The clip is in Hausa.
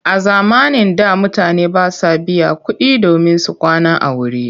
A zamanin da mutane ba sa biyan kuɗi domin su kwana a wuri.